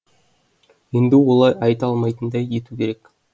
енді олай айта алмайтындай ету керек